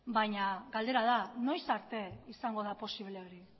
baina galdera da noiz arte izango da posible hori